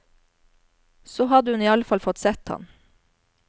Så hadde hun iallfall fått sett ham.